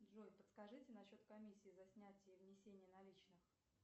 джой подскажите на счет комиссии за снятие и внесение наличных